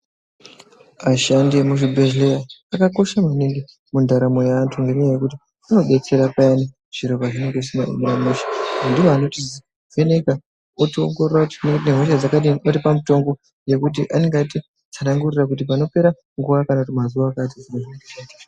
Ashandi emuzvibhedhlera akakosha maningi mundaramo yeantu ngenyaya yekuti anodetsera payani zviro pazvinenge zvisina kumira mushe ndiwo anotivheneka otiongorora kuti tinenge tine hosha dzakadini votipa mutombo yekuti anenge atitsanangurira kuti panopera nguwa kana mazuwa akati